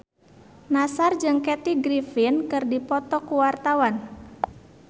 Nassar jeung Kathy Griffin keur dipoto ku wartawan